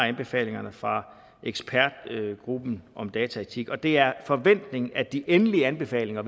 anbefalingerne fra ekspertgruppen om dataetik og det er forventningen at de endelige anbefalinger